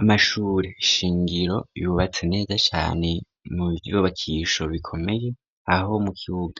Amashure ishingiro yubatse neza cane mu vyubakisho bikomeye aho mu kibuga